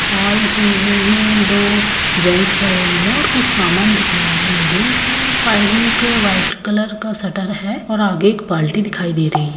और इस इमेज में दो जेंस खड़े हुए हैं और कुछ सामान दिख रहा है मुझे इसमे और साइड में एक व्हाइट कलर का सट्टर है और आगे एक बाल्टी दिखाई दे रही है।